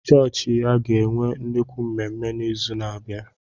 Chọọchị ya ga-enwe nnukwu mmemme n'izu na-abịa.